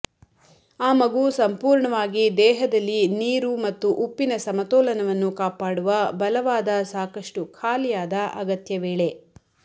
ಆ ಮಗು ಸಂಪೂರ್ಣವಾಗಿ ದೇಹದಲ್ಲಿ ನೀರು ಮತ್ತು ಉಪ್ಪಿನ ಸಮತೋಲನವನ್ನು ಕಾಪಾಡುವ ಬಲವಾದ ಸಾಕಷ್ಟು ಖಾಲಿಯಾದ ಅಗತ್ಯ ವೇಳೆ